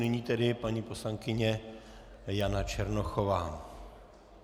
Nyní tedy paní poslankyně Jana Černochová.